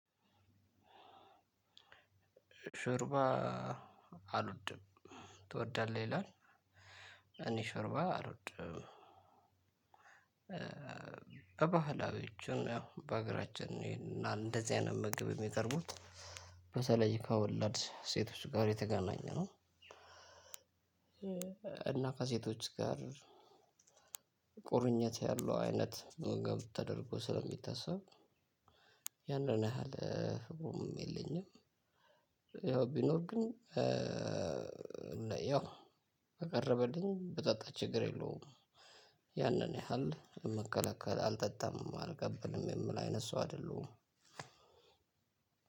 ሾርባ አልወድም ትወዳለህ ይላል። እኔ ሾርባ አልወድም። በባህላዊችም ያው በአገራችን እና እንደዚህ አይነት ምግብ የሚቀርቡት በተለይ ከወላድ ሴቶች ጋር የተገናኘ ነው። እና ከሴቶች ጋር ቁርኝት ያለው አይነት ተደርጎ ስለሚታሰብ ያንን ያህል ቦምም የለኝም። ያው ቢኖር ግን ያው ከቅረበልኝ በጠጣ ችግር የለውም። ያንን ያህል ይምከላከል አልጠጣም አልቀበልም የምል አይነት ሰው አይደለሁም።